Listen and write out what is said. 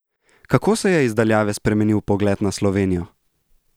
Kako se je iz daljave spremenil pogled na Slovenijo?